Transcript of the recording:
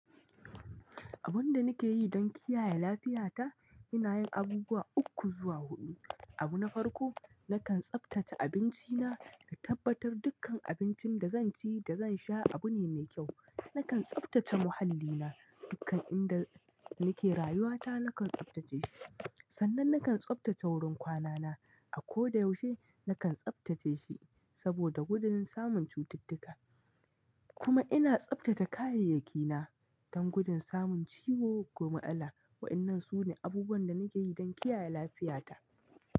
Abun da nake yi don kiyaye lafiyata, ina yin abubuwa uku zuwa huɗu. Abu na farko, nakan tsaftace abinci na, na tabbatar dukkan abincin da zan ci da zan sha abu ne mai kyau. Nakan tsaftace muhallina, dukkan inda nake rayuwata nakan tsaftace shi. San nan nakan tsaftace wurin kwanana a koda yauce nakan tsaftace shi saboda gudun samun cutuk-tuka kuma ina tsaftace kayai yakina don gudun samun ciwo ko matsala wa'yannan sune abubuwan da nakeyi don kiyaye lafiya ta.